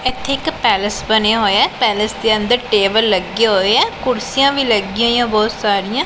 ਇੱਥੇ ਇੱਕ ਪੈਲੇਸ ਬਣਿਆ ਹੋਇਆ ਹੈ ਪੈਲੇਸ ਦੇ ਅੰਦਰ ਟੇਬਲ ਲੱਗਿਆ ਹੋਇਆ ਕੁਰਸੀਆਂ ਵੀ ਲੱਗਿਆਂ ਹੋਈਆਂ ਬਹੁਤ ਸਾਰੀਆਂ।